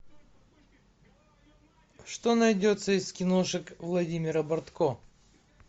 что найдется из киношек владимира бортко